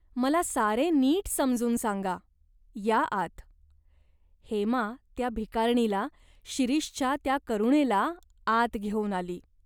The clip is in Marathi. मला सारे नीट समजून सांगा. या आत." हेमा त्या भिकारणीला, शिरीषच्या त्या करुणेला आत घेऊन गेली.